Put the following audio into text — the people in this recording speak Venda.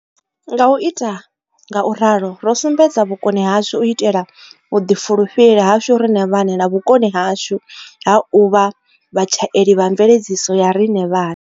Nga u ita nga u ralo, ro sumbedza vhukoni hashu u itela vhuḓifulufheli hashu riṋe vhaṋe na vhukoni hashu ha u vha vhatshaeli vha mveledziso ya riṋe vhaṋe.